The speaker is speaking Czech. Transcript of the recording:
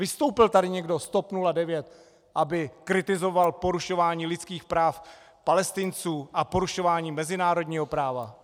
Vystoupil tady někdo z TOP 09, aby kritizoval porušování lidských práv Palestinců a porušování mezinárodního práva?